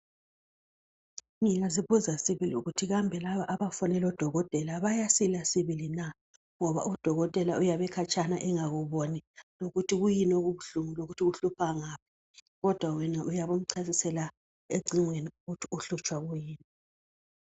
ngiyazibuza sibili ukuthi kambe labo abafonela odokotela bayasila sibili na ngoba u dokotela uyabe ekhatshana engakuboni ukuthi kuyini okubuhlungu lokuthi kuhlupha ngaphi kodwa wena uyabe umcasisela ecingweni ukuthi uhlutshwa kuyini